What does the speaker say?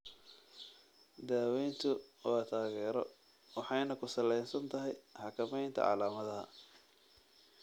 Daawadu waa taageero waxayna ku salaysan tahay xakamaynta calaamadaha.